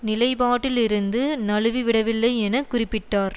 நிலைப்பாட்டில் இருந்து நழுவிவிடவில்லை என குறிப்பிட்டார்